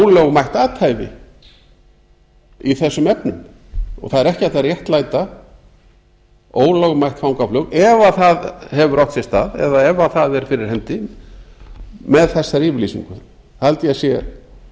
ólögmætt athæfi í þessum efnum og það er ekki hægt að réttlæta ólögmætt fangaflug ef það hefur átt sér stað eða ef það er fyrir hendi með þessari yfirlýsingu ég held að það sé